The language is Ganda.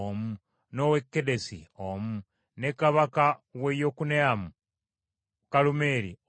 n’ow’e Kedesi omu, ne kabaka w’e Yokuneamu ku Kalumeeri omu,